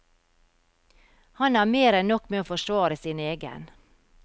Han har mer enn nok med å forsvare sin egen.